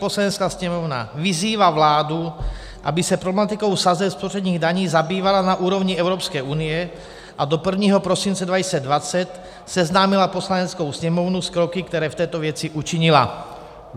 Poslanecká sněmovna vyzývá vládu, aby se problematikou sazeb spotřebních daní zabývala na úrovni Evropské unie a do 1. prosince 2020 seznámila Poslaneckou sněmovnu s kroky, které v této věci učinila."